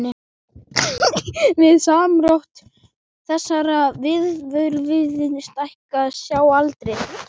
Við samdrátt þessara vöðvafruma stækkar sjáaldrið.